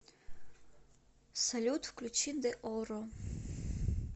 салют включи деорро